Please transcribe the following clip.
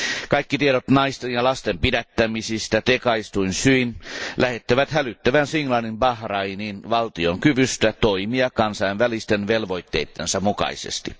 Kaikki tiedot naisten ja lasten pidättämisistä tekaistuin syin lähettävät hälyttävän signaalin Bahrainin valtion kyvystä toimia kansainvälisten velvoitteidensa mukaisesti.